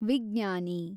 ವಿಜ್ಞಾನಿ